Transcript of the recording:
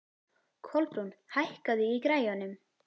Kolbrún, hækkaðu í græjunum.